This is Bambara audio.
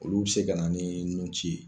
Olu be se ka na ni nun ci ye.